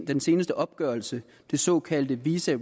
den seneste opgørelse det såkaldte visa